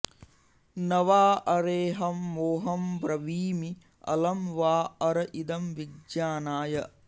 न॒ वा॒ अरेऽहं॒ मो॒हं ब्रवीमि अलं॒ वा॒ अर इदं॒ विज्ञा॒नाय